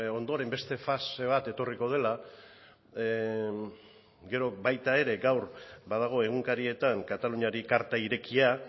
ondoren beste fase bat etorriko dela gero baita ere gaur badago egunkarietan kataluniari karta irekia